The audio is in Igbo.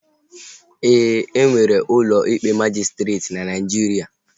E nwere ụlọ ikpe majịstreetị na Naijiria